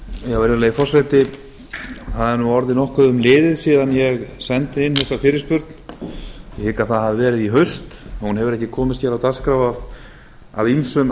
byrjun virðulegi forseti það er nú orðið nokkuð um liðið síðan ég sendi inn þessa fyrirspurn ég hygg að það hafi verið í haust og hún hefur ekki komist hér á dagskrá af ýmsum